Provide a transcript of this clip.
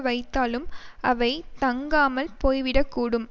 வைத்தாலும் அவை தங்காமல் போய் விட கூடும்